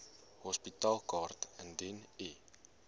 hospitaalkaart indien u